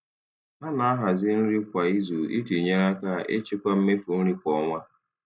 Ha na-ahazi nri kwa izu iji nyere aka ịchịkwa mmefu nri kwa ọnwa.